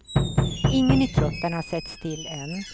Ingen i truppen har setts till än.